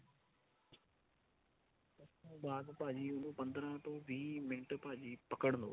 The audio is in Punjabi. ਬਾਅਦ ਭਾਜੀ ਉਹਨੂੰ ਪੰਦਰਾ ਤੋਂ ਬੀਹ ਮਿੰਟ ਭਾਜੀ ਪਕੜ ਲੋ